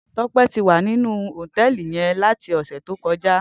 Tope ti wá ninú hótèlí yèn làti òsè tókòjá